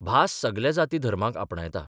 भास सगल्या जाती धर्मांक आपणायता.